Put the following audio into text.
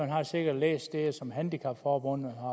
har sikkert læst det som dansk handicap forbund har